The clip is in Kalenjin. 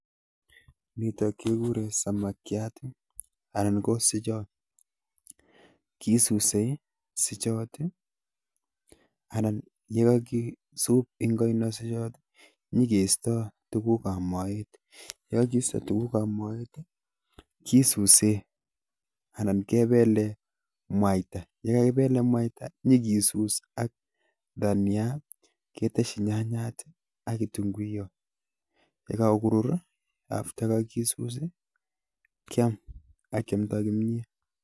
Nitok kekuren samakiat anan ko suchot. Kisuse suchot anan yekakisup eng oinosiechoto, nyikeisto tugukab moet. Yekakisto tugukab moet kisuse anan kepele mwaita. Yekakipelen mwaita nyikisus ak dania, nyeketesyi nyanyat ak kitunguyot. Yekakorur after ko kakisus kiam ak kiamnda kimnyet.